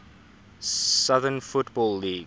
southern football league